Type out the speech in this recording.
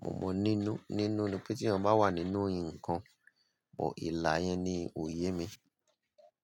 Mo mọ̀ nínú, nínú ni pé tí èyàn bá wà nínú nǹkan, but ìlà yẹn ni òye mi.